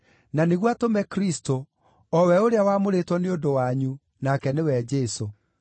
nĩguo atũme Kristũ, o we ũrĩa wamũrĩtwo nĩ ũndũ wanyu, nake nĩwe Jesũ.